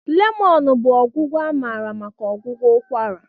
lemon bụ ọgwụgwọ amara maka ọgwụgwọ ụkwara.